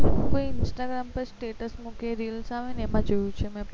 કોઈ instagarm માં status મુકે reels આવે એમાં જોયું છે મેં